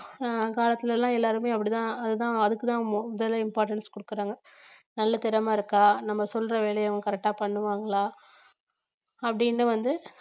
அஹ் அந்த காலத்துல எல்லாம் எல்லாருமே அப்படிதான் அதுதான் அதுக்கு தான் முதல்ல importance கொடுக்குறாங்க நல்ல திறமை இருக்கா நம்ம சொல்ற வேலையை அவங்க correct ஆ பண்ணுவாங்களா அப்படின்னு வந்து